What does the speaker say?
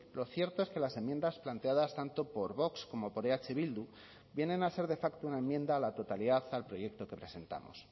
lo cierto es que las enmiendas planteadas tanto por vox como por eh bildu vienen a ser de facto una enmienda a la totalidad al proyecto que presentamos